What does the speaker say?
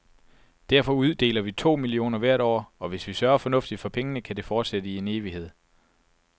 Derfor uddeler vi to millioner hvert år, og hvis vi sørger fornuftigt for pengene, kan det fortsætte i en evighed.